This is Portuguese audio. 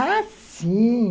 Ah, sim!